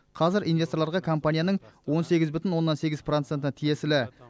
қазір инвесторларға компанияның он сегіз бүтін оннан сегіз проценті тиесілі